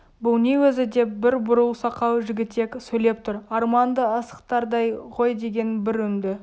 бұл не өзі деп бір бурыл сақал жігітек сөйлеп тұр арманды асықтардай ғой деген бір үнді